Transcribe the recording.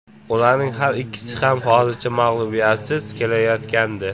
Ularning har ikkisi ham hozirgacha mag‘lubiyatsiz kelayotgandi.